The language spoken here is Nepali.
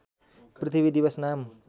पृथ्वी दिवस नाम